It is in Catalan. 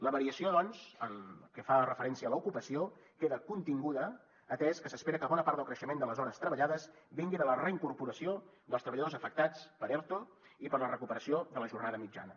la variació doncs en el que fa referència a l’ocupació queda continguda atès que s’espera que bona part del creixement de les hores treballades vingui de la reincorporació dels treballadors afectats per erto i per la recuperació de la jornada mitjana